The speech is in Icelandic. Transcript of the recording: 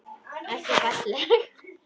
Ekki falleg.